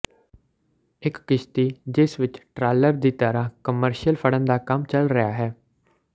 ਇਕ ਕਿਸ਼ਤੀ ਜਿਸ ਵਿਚ ਟਰਾਲਲਰ ਦੀ ਤਰ੍ਹਾਂ ਕਮਰਸ਼ੀਅਲ ਫੜਨ ਦਾ ਕੰਮ ਚੱਲ ਰਿਹਾ ਹੈ